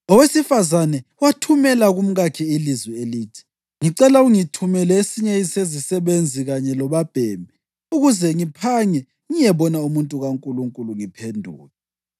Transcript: Owesifazane wathumela kumkakhe ilizwi elithi, “Ngicela ungithumele esinye sezisebenzi kanye lobabhemi ukuze ngiphange ngiyebona umuntu kaNkulunkulu ngiphenduke.”